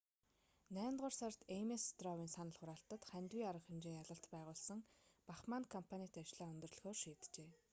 наймдугаар сард эймес стров"-ын санал хураалтад хандивын арга хэмжээ ялалт байгуулсан бахманн кампанит ажлаа өндөрлөхөөр шийджээ